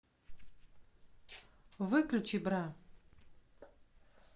выключи бра